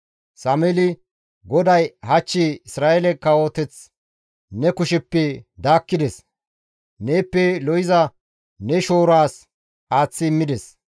Sameeli, «GODAY hach Isra7eele kawoteth ne kusheppe daakkides; neeppe lo7iza ne shooraas aaththi immides.